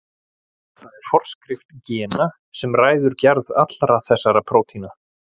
Það er forskrift gena sem ræður gerð allra þessara prótína.